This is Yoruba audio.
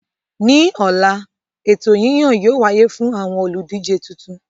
Ní ọ̀la, ètò yíyàn yóò wáyé fún àwọn olùdíje tuntun